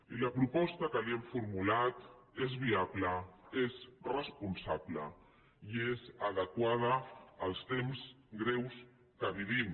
i la proposta que li hem formulat és viable és responsable i és adequada als temps greus que vivim